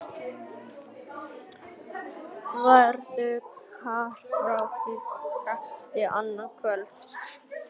Verður karókí-keppni annað kvöld?